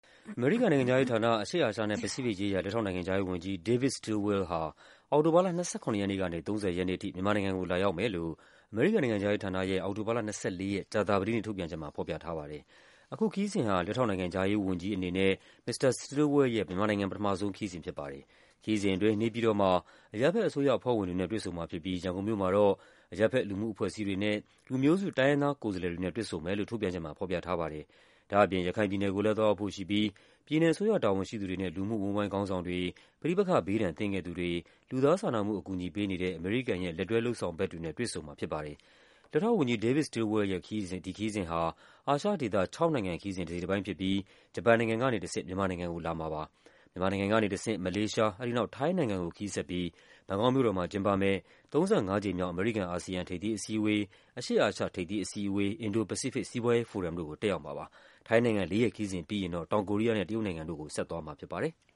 အမေရိကန်နိုင်ငံခြားရေးဌာန၊ အရှေ့အာရှနဲ့ ပစိဖိတ်ရေးရာ လက်ထောက်နိုင်ငံခြားရေးဝန်ကြီး David Stilwell ဟာ အောက်တိုဘာလ ၂၇ ရက်နေ့ကနေ ၃၀ ရက်နေ့အထိ မြန်မာနိုင်ငံကို လာရောက်မယ်လို့ အမေရိကန်နိုင်ငံခြားရေးဌာနရဲ့ အောက်တိုဘာလ ၂၄ ရက်၊ ကြာသပတေးနေ့ ထုတ်ပြန်ချက်မှာ ဖော်ပြထားပါတယ်။ အခုခရီးစဉ်ဟာ လက်ထောက်နိုင်ငံခြားရေးအနေနဲ့ မစ္စတာ Stilwell ရဲ့ မြန်မာနိုင်ငံ ပထမဆုံးခရီးစဉ်ဖြစ်ပါတယ်။ ခရီးစဉ်အတွင်း နေပြည်တော်မှာ အရပ်ဘက်အစိုးရအဖွဲ့ဝင်တွေနဲ့ တွေ့ဆုံမှာဖြစ်ပြီး ရန်ကုန်မြို့မှာတော့ အရပ်ဘက် လူမှုအဖွဲ့ အစည်းတွေနဲ့ လူမျိုးစုတိုင်းရင်းသား ကိုယ်စားလှယ်တွေနဲ့ တွေ့ဆုံမယ်လို့ ထုတ်ပြန်ချက်မှာ ဖော်ပြထားပါတယ်။ ဒါ့အပြင် ရခိုင်ပြည်နယ်ကိုလည်း သွားရောက်ဖို့ရှိပြီး ပြည်နယ်အစိုးရ တာဝန်ရှိသူတွေနဲ့ လူမှုအဝန်းအဝိုင်းခေါင်းဆောင်တွေ၊ ပဋိပက္ခဘေးဒဏ်သင့်ခဲ့သူတွေ၊ လူသားစာနာမှု အကူအညီပေးနေတဲ့ အမေရိကန်ရဲ့ လက်တွဲလုပ်ဆောင်ဘက်တွေနဲ့ တွေ့ဆုံမှာ ဖြစ်ပါတယ်။ လက်ထောက်ဝန်ကြီး David Stilwell ရဲ့ ဒီခရီးစဉ်ဟာ အာရှဒေသ ၆ နိုင်ငံခရီးစဉ် တစိတ်တပိုင်းဖြစ်ပြီး ဂျပန်နိုင်ငံကနေတဆင့် မြန်မာနိုင်ငံကိုလာမှာပါ။ မြန်မာနိုင်ငံကနေတဆင့် မလေးရှား၊ အဲဒီနောက် ထိုင်းနိုင်ငံကိုခရီးဆက်ပြီး ဘန်ကောက်မြို့တော်မှာ ကျင်းပမယ့် ၃၅ ကြိမ်မြောက် အမေရိကန်-အာဆီယံ ထိပ်သီးအစည်းအဝေး၊ အရှေ့အာရှထိပ်သီးအစည်းအဝေး၊ အင်ဒို-ပစိဖိတ် စီးပွားရေးဖိုရမ်တို့ကို တက်ရောက်မှာပါ။ ထိုင်းနိုင်ငံ လေးရက်ခရီးစဉ်ပြီးရင်တော့ တောင်ကိုရီးယားနဲ့ တရုတ်နိုင်ငံတို့ကို ဆက်သွားမှာဖြစ်ပါတယ်။